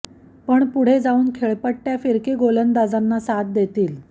पण पुढे जाऊन खेळपट्टय़ा फिरकी गोलंदाजांना साथ देतील